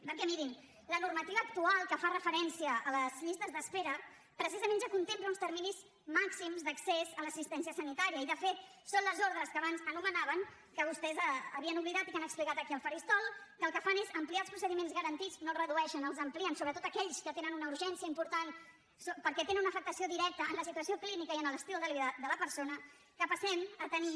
perquè mirin la normativa actual que fa referència a les llistes d’espera precisament ja contempla uns terminis màxims d’accés a l’assistència sanitària i de fet són les ordres que abans anomenaven que vostès havien oblidat i que han explicat aquí al faristol que el que fan és ampliar els procediments garantits no els redueixen els amplien sobretot aquells que tenen una urgència important perquè tenen una afectació directa en la situació clínica i en l’estil de la vida de la persona que passem a tenir